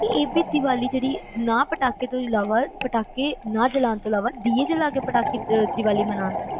ਇਹ ਵੀ ਦੀਵਾਲੀ ਨਾ ਪਟਾਖੇ ਜਾਲਾਂ ਤੋਂ ਇਲਾਵਾ ਦੀਏ ਜਾਲ ਕੇ ਦੀਵਾਲੀ ਮਨੋਉਣ